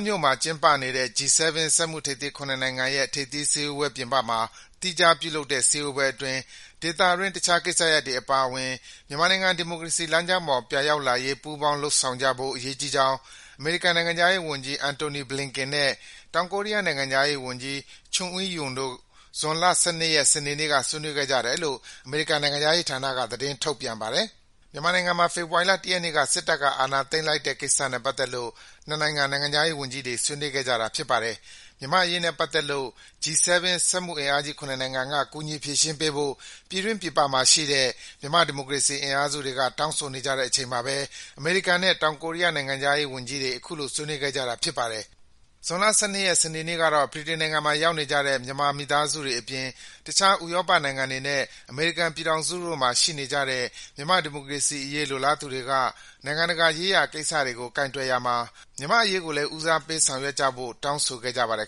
မြို့မှာ ကျင်းပနေတဲ့ G-7 စက်မှုထိပ်သီး ၇ နိုင်ငံရဲ့ ထိပ်သီးစည်းဝေးပွဲ ပြင်ပမှာ သီးခြားပြုလုပ်တဲ့ စည်းဝေးပွဲအတွင်း ဒေသတွင်း တခြားကိစ္စရပ်တွေ အပါအဝင် မြန်မာနိုင်ငံ ဒီမိုကရေစီလမ်းကြောင်းပေါ် ပြန်ရောက်လာရေး ပူးပေါင်းလုပ်ဆောင်ကြဖို့ အရေးကြီးကြောင်း အမေရိကန် နိုင်ငံခြားရေးဝန်ကြီး Antony Blinken နဲ့ တောင်ကိုရီးယား နိုင်ငံခြားရေးဝန်ကြီး Chung Eui-Yong တို့ ဇွန်လ ၁၂ ရက်၊ စနေနေ့က ဆွေးနွေးခဲ့ကြတယ်လို့ အမေရိကန် နိုင်ငံခြားရေးဌာနက သတင်းထုတ်ပြန်ပါတယ်။ မြန်မာနိုင်ငံမှာ ဖေဖော်ဝါရီလ ၁ ရက်နေ့က စစ်တပ်က အာဏာသိမ်းလိုက်တဲ့ကိစ္စနဲ့ ပတ်သက်လို့ နှစ်နိုင်ငံ နိုင်ငံခြားရေးဝန်ကြီးတွေ ဆွေးနွေးခဲ့ကြတာ ဖြစ်ပါတယ်။ မြန်မာ့အရေးနဲ့ပတ်သက်လို့ G-7 စက်မှုအင်အားကြီး ၇ နိုင်ငံက ကူညီဖြေရှင်းပေးဖို့ ပြည်တွင်းပြည်ပမှာရှိတဲ့ မြန်မာ့ဒီမိုကရေစီ အင်အားစုတွေက တောင်းဆိုနေကြတဲ့ အချိန်မှာပဲ အမေရိကန်နဲ့ တောင်ကိုရီးယား နိုင်ငံခြားရေးဝန်ကြီးတွေ အခုလို ဆွေးနွေးခဲ့ကြတာ ဖြစ်ပါတယ်။ ဇွန်လ ၁၂ ရက်၊ စနေနေ့ကတော့ ဗြိတိန်မှာ ရောက်နေကြတဲ့ မြန်မာမိသားစုတွေအပြင် တခြား ဥရောပနိုင်ငံတွေနဲ့ အမေရိကန်ပြည်ထောင်စုတို့မှာ ရှိနေကြတဲ့ မြန်မာ့ဒီမိုကရေစီအရေး လိုလားသူတွေက နိုင်ငံတကာရေးရာ ကိစ္စရပ်တွေကို ကိုင်တွယ်ရာမှာ မြန်မာ့အရေးကိုလည်း ဦးစားပေး ဆောင်ရွက်ပေးဖို့ တောင်းဆို ဆန္ဒပြခဲ့ကြပါတယ်